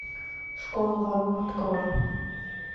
школа воров открой